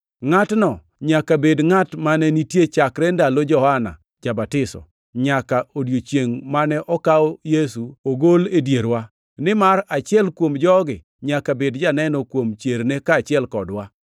Ngʼatno nyaka bed ngʼat mane nitie chakre ndalo Johana Ja-batiso nyaka odiechiengʼ mane okaw Yesu ogol e dierwa. Nimar achiel kuom jogi nyaka bed janeno kuom chierne kaachiel kodwa.”